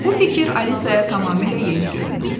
Bu fikir Alisaya tamamilə yeni göründü.